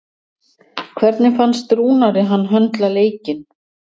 Hvernig fannst Rúnari hann höndla leikinn?